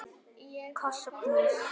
Koss og knús.